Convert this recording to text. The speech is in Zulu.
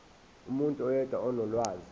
umuntu oyedwa onolwazi